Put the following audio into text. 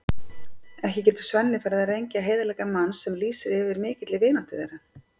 Ekki getur Svenni farið að rengja heiðarleika manns sem lýsir yfir mikilli vináttu þeirra.